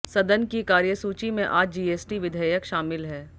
सदन की कार्यसूची में आज जीएसटी विधेयक शामिल है